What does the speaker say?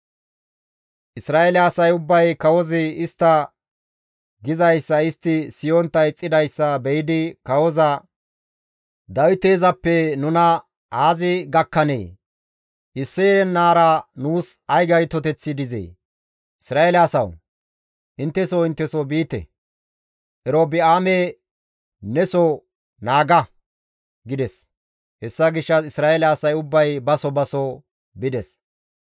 Isra7eele asay ubbay kawozi istta gizayssa istti siyontta ixxidayssa be7idi kawoza, «Dawiteezappe nuna aazi gakkanee? Isseye naara nuus ay gaytoteththi dizee! Isra7eele asawu! Intte soo intte soo biite! Erobi7aame ne soo naaga!» gides. Hessa gishshas Isra7eele asay ubbay ba soo ba soo bides.